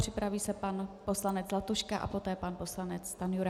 Připraví se pan poslanec Zlatuška a poté pan poslanec Stanjura.